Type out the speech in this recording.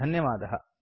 सम्पर्कार्थं धन्यवादाः